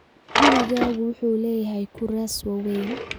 Gurigaagu wuxuu leeyahay kuraas waaweyn